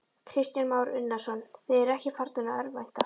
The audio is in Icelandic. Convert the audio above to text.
Kristján Már Unnarsson: Þið eruð ekki farnir að örvænta?